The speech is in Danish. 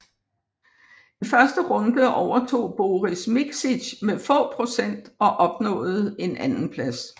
I første runde overtog Boris Mikšić med få procent og opnåede en anden plads